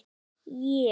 Ég á marga dulbúninga.